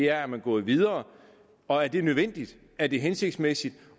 er man gået videre og er det nødvendigt er det hensigtsmæssigt